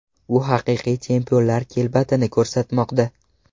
U haqiqiy chempionlar kelbatini ko‘rsatmoqda.